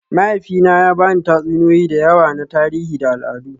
Mahaifina ya ba ni tatsuniyoyi da yawa na tarihi da al'adu